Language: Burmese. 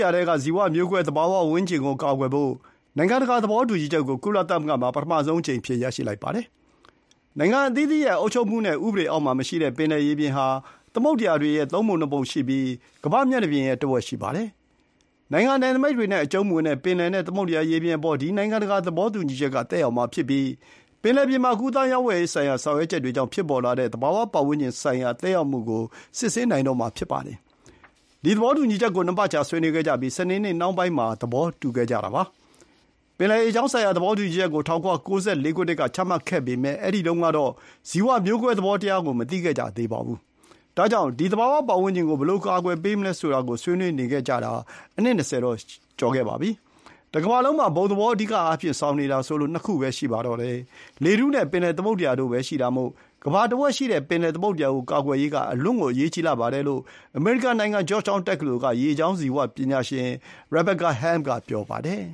ရာထဲက ဇီဝမျိုးကွဲသတ္တဝါနဲ့ အပင်တွေကိုကာကွယ်ဖို့ နိုင်ငံတကာ သဘောတူညီချက်ကို ကုလသမဂ္ဂမှာ ပထမဆုံးအကြိမ်အဖြစ် ရရှိလိုက်ပါတယ်။ နိုင်ငံအသီးသီးရဲ့အုပ်ချုပ်မှုနဲ့ ဥပဒေအောက်မှာမရှိတဲ့ ပင်လယ်ရေပြင်ဟာ သမုဒ္ဒရာတွေရဲ့သုံးပုံ ၂ ပုံရှိပြီး ကမ္ဘာ့မျက်နှာပြင်ရဲ့တဝက်ရှိပါတယ်။ နိုင်ငံနယ်နိမိတ်တွေနဲ့အကျုံးမဝင်တဲ့ ပင်လယ်နဲ့သမုဒ္ဒရာရေပြင်အပေါ် ဒီ နိုင်ငံတကာသဘောတူညီချက်ကသက်ရောက်မှာဖြစ်ပြီး ပင်လယ်ပြင်မှာ ကူးသန်းရောင်းဝယ်ရေးဆိုင်ရာ ဆောင်ရွက်ချက်တွေကြောင့် ဖြစ်ပေါ်လာတဲ့သဘာဝ ပတ်ဝန်းကျင်ဆိုင်ရာ သက်ရောက်မှုကို စစ်ဆေးနိုင်မှာဖြစ်ပါတယ်။ ဒီ သဘောတူညီချက်ကို ၂ ပတ်ကြာဆွေးနွေးခဲ့ကြပြီး စနေနေ့နှောင်းပိုင်းမှာ သဘောတူခဲ့ကြတာဖြစ်ပါတယ်။ ပင်လယ်ရေကြောင်းဆိုင်ရာ သဘောတူညီချက်ကို ၁၉၉၄ ခုနှစ်မှာချမှတ်ခဲ့ပေမဲ့ အဲဒီတုန်းက ဇီဝမျိုးကွဲ သဘောကို မသိခဲ့ကြသေးပါဘူး။ ဒါကြောင့် ဒီ သဘာဝပတ်ဝန်းကျင်ကို ဘယ်လို အကာအကွယ်ပေးမလဲဆိုတာကို ဆွေးနွေးနေခဲ့ကြတာ အနှစ် ၂၀ ကျော်ခဲ့ပါပြီ။ တကမ္ဘာလုံးမှာ အဓိအားဖြင့် ဘုံသဘောဆောင်နေတာဆိုလို့ ၂ ခုပဲ ရှိပါတယ်။ လေထုနဲ့ပင်လယ်သမုဒ္ဒရာတို့ပဲရှိတာမို့ ကမ္ဘာတဝက်ရှိတဲ့ ပင်လယ်သမုဒ္ဒရာကိုကာကွယ်ရေးက အလွန်အရေးကြီးပါတယ်လို့ အမေရိကန်နိုင်ငံ ဂျော့ချ်တောင်းတက္ကသိုလ်က ရေကြောင်း ဇီဝပညာရှင် Rebecca Helm က ပြောပါတယ်